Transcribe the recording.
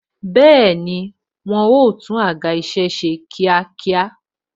Bẹẹni, wọn o tún àga isẹ ṣe kíákíá